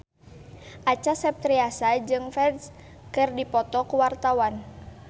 Acha Septriasa jeung Ferdge keur dipoto ku wartawan